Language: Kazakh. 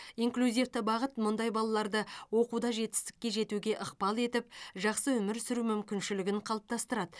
инклюзивті бағыт мұндай балаларды оқуда жетістікке жетуге ықпал етіп жақсы өмір сүру мүмкіншілігін қалыптастырады